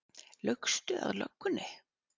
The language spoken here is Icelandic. Laugstu að löggunni?